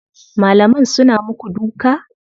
Malaman suna muku duka?